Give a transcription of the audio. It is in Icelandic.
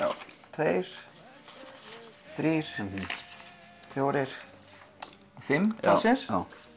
tveir þrír fjórir fimm talsins